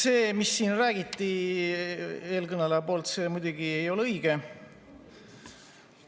See, mida siin rääkis eelkõneleja, muidugi ei ole õige.